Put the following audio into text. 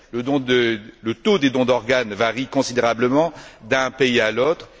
Le taux des dons d'organes varie considérablement d'un pays à l'autre.